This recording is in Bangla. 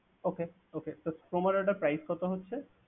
Okay okay তো Croma র ওটার Price কত হচ্ছে?